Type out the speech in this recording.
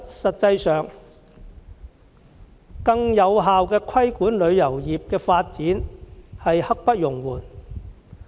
實際上，更有效規管旅遊業的發展實在刻不容緩。